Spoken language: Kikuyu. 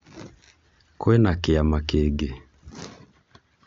kwĩna kĩama kĩngĩ?